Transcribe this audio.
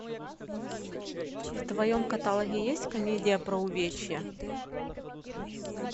в твоем каталоге есть комедия про увечья